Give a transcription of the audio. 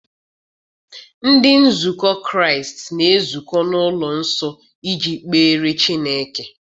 Ndị nzukọ Kraịst na-ezukọ n'ụlọ nsọ iji kpere Chineke.